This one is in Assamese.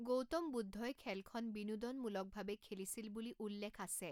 গৌতম বুদ্ধই খেলখন বিনোদনমূলকভাৱে খেলিছিল বুলি উল্লেখ আছে।